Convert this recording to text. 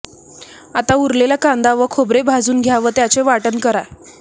आता उरलेला कांदा व खोबरे भाजून घ्या व त्याचे वाटण करा